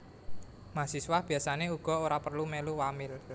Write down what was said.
Mahasiswa biasané uga ora perlu mèlu wamil